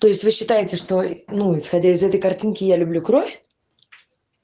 то есть вы считаете что ну исходя из этой картинки я люблю кровь